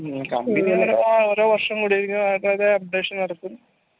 ഓരോ വർഷും updation നടക്കും